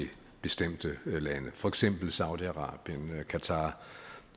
bestemte lande for eksempel saudi arabien eller qatar